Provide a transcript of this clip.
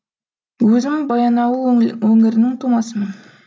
өзім баянауыл өңірінің тумасымын